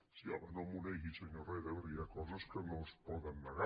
sí home no m’ho negui senyor herrera perquè hi ha coses que no es poden negar